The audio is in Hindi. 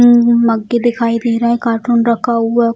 उम्म मग्गे दिखाई दे रहा है काटून रखा हुआ --